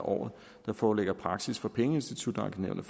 af året der foreligger praksis fra pengeinstitutankenævnet